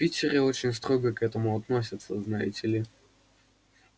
в питере очень строго к этому относятся знаете ли